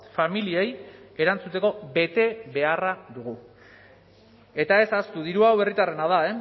familiei erantzuteko betebeharra dugu eta ez ahaztu diru hau herritarrena da